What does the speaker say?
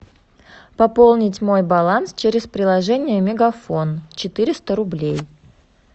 пополнить мой баланс через приложение мегафон четыреста рублей